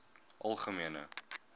algemene